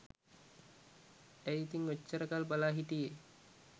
ඇයි ඉතින් ඔච්චර කල් බලා හිටියේ